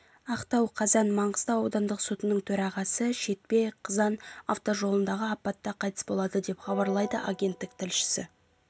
ақтау қазан маңғыстау аудандық сотының төрағасы шетпе-қызан автожолындағы апатта қайтыс болды деп хабарлайды агенттік тілшісі